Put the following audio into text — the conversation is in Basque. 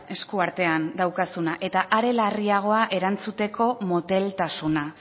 eskuartean daukazuna eta are larriagoa erantzuteko moteltasuna